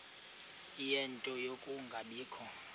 ie nto yokungabikho